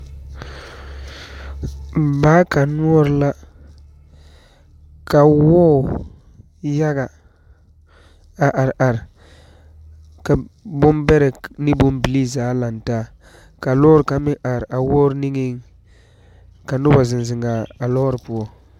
Ŋmaa kaŋ noɔre la, ka wɔɔ yaga a are are ka ŋmam beɛre ane bon bibil zaa are are, ka lɔɔre kaŋa meŋ are a wɔɔre niŋɛ, ka noba zeŋ zeŋ a lɔɔre poɔ.